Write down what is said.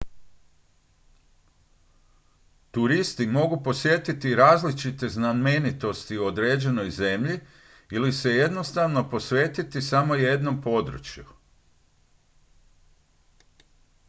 turisti mogu posjetiti različite znamenitosti u određenoj zemlji ili se jednostavno posvetiti samo jednom području